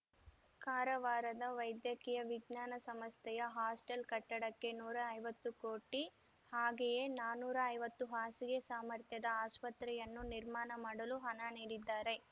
ಕಾರವಾರದ ವೈದ್ಯಕೀಯ ವಿಜ್ಞಾನ ಸಂಸ್ಥೆಯ ಹಾಸ್ಟೆಲ್ ಕಟ್ಟಡಕ್ಕೆ ನೂರೈವತ್ತು ಕೋಟಿ ಹಾಗೆಯೇ ನಾನೂರೈವತ್ತು ಹಾಸಿಗೆ ಸಾಮರ್ಥ್ಯದ ಆಸ್ಪತ್ರೆಯನ್ನು ನಿರ್ಮಾಣ ಮಾಡಲು ಹಣ ನೀಡಿದ್ದಾರೆ